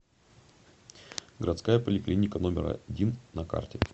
городская поликлиника номер один на карте